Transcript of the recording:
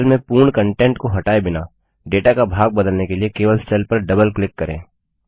cell में पूर्ण content को हटाए बिना डेटा का भाग बदलने के लिए केवल सेल पर डबल क्लिक करें